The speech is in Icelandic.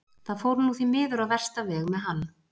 Það fór nú því miður á versta veg með hann.